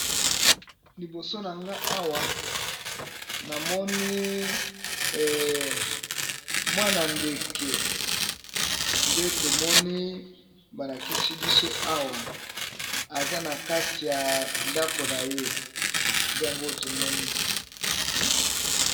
Liboso nanga awa namoni mwana ndeke nde tomoni balakisi biso awa azanakati ya ndako naye nde tomoni